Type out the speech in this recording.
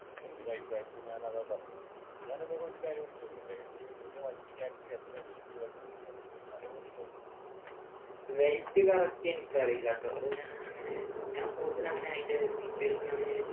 എൻ്റെ ഒരു അഭിപ്രായത്തില് ഞാൻ അതാ പറഞ്ഞത് ഞാൻ നിന്നോട് ഒരു കാര്യം ചോദിക്കട്ടെ ഈ വണ്ടിക്ക് Actually എത്ര Weight വരുന്നത് എനിക്കൊന്നു അറിയാൻ വേണ്ടിട്ട് ആയിരുന്നു